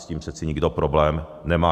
S tím přece nikdo problém nemá.